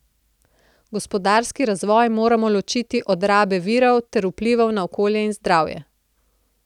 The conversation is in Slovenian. Gospodarski razvoj moramo ločiti od rabe virov ter vplivov na okolje in zdravje.